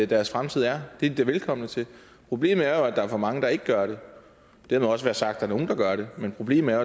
deres fremtid er det er de da velkomne til problemet er jo at der er for mange der ikke gør det det har nu også været sagt er nogle der gør det men problemet er